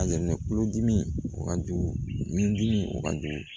kulodimi o ka jugu n dimi o ka jugu